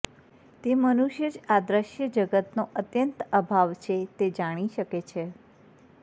તે મનુષ્ય જ આ દૃશ્ય જગતનો અત્યંત અભાવ છે તે જાણી શકે છે